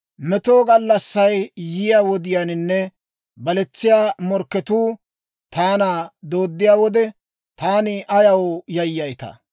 Meto gallassay yiyaa wodiyaaninne baletsiyaa morkketuu, taana dooddiyaa wode, Taani ayaw yayyaytaa?